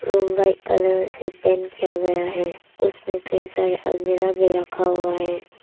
Room white colour से paint किया गया है। उसमें कई सारे अलमीरा भी रखा हुआ है।